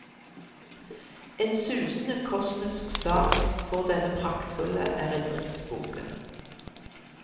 En susende, kosmisk start får denne praktfulle erindringsboken.